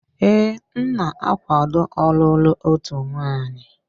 Ee, m na-akwaado ọlụlụ otu nwanyị.